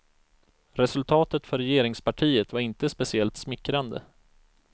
Resultatet för regeringspartiet var inte speciellt smickrande.